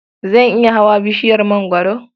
Zan iya hawa bishiyar mangwaro.